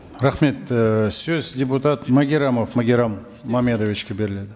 рахмет і сөз депутат магеррамов магеррам мамедовичке беріледі